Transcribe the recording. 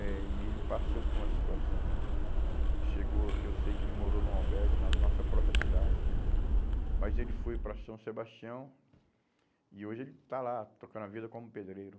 Eh e ele passou por uma situação, chegou que eu sei que ele morou num albergue na nossa própria cidade, mas ele foi para São Sebastião e hoje ele está lá, tocando a vida como pedreiro.